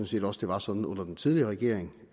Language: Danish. set også det var sådan under den tidligere regering